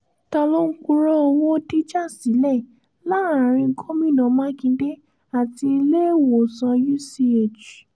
ta ló ń purọ́ owó dìjà sílẹ̀ láàrin gomina makinde àti iléèwòsàn uch